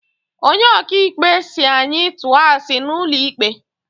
Onye ok'ikpe si anyi tuo asi n'ulo ikpe